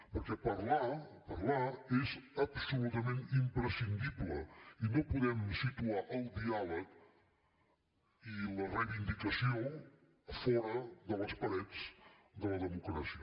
perquè parlar parlar és absolutament imprescindible i no podem situar el diàleg i la reivindicació fora de les parets de la democràcia